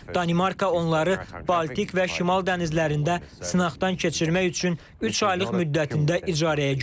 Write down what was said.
Danimarka onları Baltik və Şimal dənizlərində sınaqdan keçirmək üçün üç aylıq müddətində icarəyə götürüb.